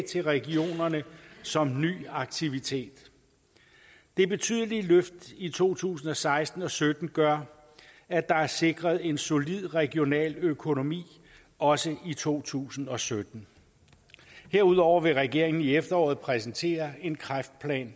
til regionerne som ny aktivitet det betydelig løft i to tusind og seksten og sytten gør at der er sikret en solid regional økonomi også i to tusind og sytten herudover vil regeringen i efteråret præsentere en kræftplan